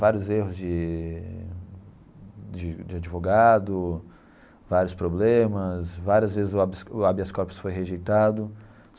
Vários erros de de de advogado, vários problemas, várias vezes o habeas o habeas corpus foi rejeitado.